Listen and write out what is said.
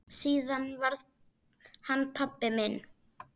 Síðar varð hann pabbi minn.